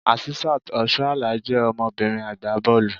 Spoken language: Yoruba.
Asisat Oshoala je ọmọbìnrin agbá bọ́ọ̀lù.